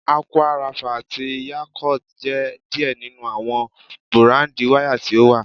Aqua Rapha ati Yakult jẹ diẹ ninu awọn burandi wara ti o wa